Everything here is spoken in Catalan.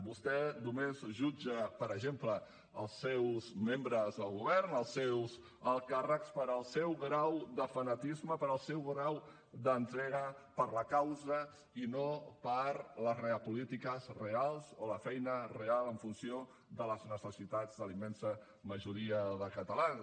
vostè només jutja per exemple els seus membres del govern els seus alts càrrecs pel seu grau de fanatisme pel seu gran d’entrega per la causa i no per les polítiques reals o la feina real en funció de les necessitats de la immensa majoria de catalans